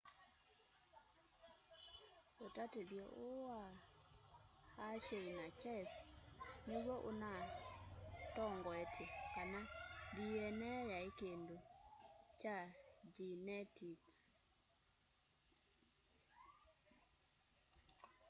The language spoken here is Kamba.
utatithyo uu wa hershey na chase niw'o unatongoetye kana dna yai kindu kya ngyenetiks